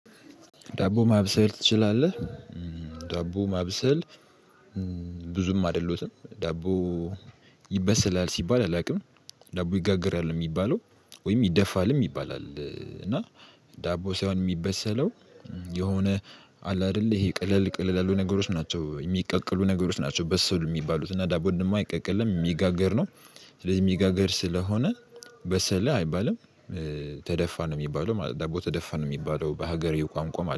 ዳቦ ማብሰል ትችላለህ? እ ዳቦ ማብሰል እ ብዙም አይደለሁትም። ዳቦ ይበሰላል ሲባል አላውቅም። ዳቦ ይጋገራል ነው የሚባለው ወይም ይደፋልም ይባላል። እ እና ዳቦ ሳይሆን የሚበሰለው የሆነ አለ አይደለ ይሄ ቀለል ቀለል ያሉ ነገሮች ናቸው የሚቀቀሉ ነገሮች ናቸው። በሰሉ የሚባሉት እና ዳቦን ደግሞ አይቀቀልም የሚጋገር ነው። ስለዚህ የሚጋገር ስለሆነ በሰላ አይባልም። እ ተደፋ ነው የሚባለው ማለት ደቦ ተደፋ ነው የሚባለው በሀገሬው ቋንቋ